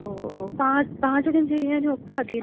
ഓ ഓ ഓ, പാചകം, പാചകം ചെയ്യാനൊക്കെ അതെന്നാണോ?